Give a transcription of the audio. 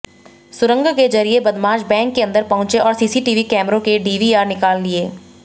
सुरंग के जरिये बदमाश बैंक के अंदर पहुंचे और सीसीटीवी कैमरों के डीवीआर निकाल लिए